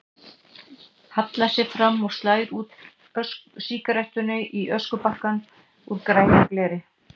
Hallar sér fram og slær úr sígarettunni í öskubakka úr grænu gleri.